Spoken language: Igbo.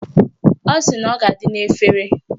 Ọ sị na ọ ga-adị n'efere